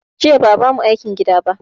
Jiya ba a ba mu aikin gida ba